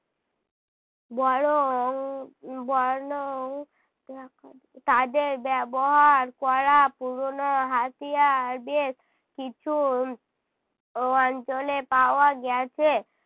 বরং বরনং তাদের ব্যবহার করা পুরোনো হাতিয়ার বেশ কিছু অঞ্চলে পাওয়া গেছে।